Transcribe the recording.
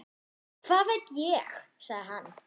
Hvað veit ég? sagði hann.